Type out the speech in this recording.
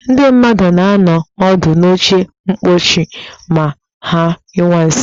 Ndị mmadụ na-anọ ọdụ n'oche mkposhi ma ha nyụwa nsị